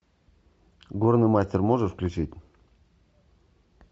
горный мастер можешь включить